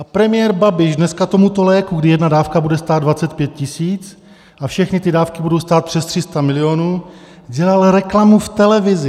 A premiér Babiš dneska tomuto léku, kdy jedna dávka bude stát 25 000 a všechny ty dávky budou stát přes 300 milionů, dělal reklamu v televizi.